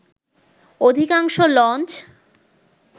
অধিকাংশ লঞ্চ